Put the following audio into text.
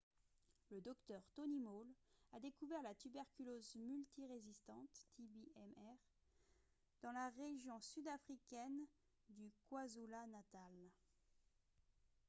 le dr tony moll a découvert la tuberculose multirésistante tb-mr dans la région sud-africaine du kwazulu-natal